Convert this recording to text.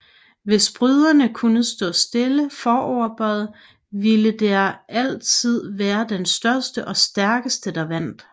Hvis bryderne kunne stå stille foroverbøjet ville det altid være den største og stærkeste der vandt